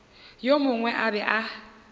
yo mongwe a be a